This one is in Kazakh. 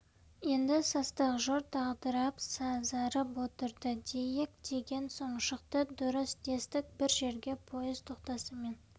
енді састық жұрт дағдарып сазарып отырды дейік деген сөз шықты дұрыс дестік бір жерге поезд тоқтасымен